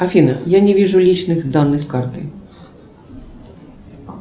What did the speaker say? афина я не вижу личных данных карты